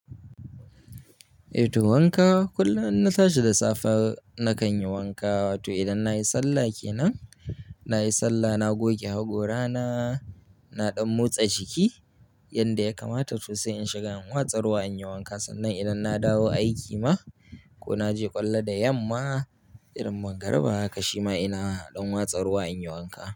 Eh to wanka kullum in na tashi da safe nakan yi wanka. Wato idan na yi sallah ke nan, na yi sallah na goge hakorana, na ɗan motsa jiki yanda ya kamata to sai in shiga in watsa ruwa in yi wanka. Sannan idan na dawo aiki ma ko na je ƙwallo da yamma irin mangariba haka shi ma ina ɗan watsa ruwa in yi wanka.